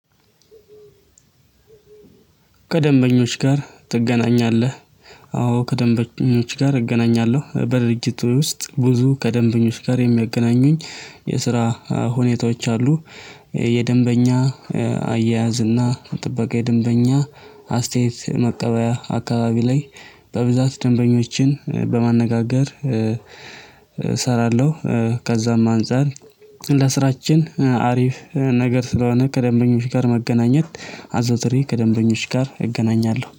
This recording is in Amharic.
ከደንበኞች ጋር ትገናኛለህ? አዎ ከደንበኞች ጋር እገናኛለሁ በድርጅቱ ውስጥ ብዙ ከደንበኞች ጋር የሚያገናኙኝ የስራ ሁኔታዎች አሉ። የደንበኛ አያያዝ እና ጥበቃ የደንበኛ አስተያየት መቀበያ አካባቢ ላይ በብዛት ደንበኞችን በማነጋገር እሰራለሁ። ከዛም አንፃር ለስራችን አሪፍ ነገር ስለሆነ ከደንበኞች ጋር መገናኘት አዟዝሬ ከደንበኞች ጋር እገናኛለሁ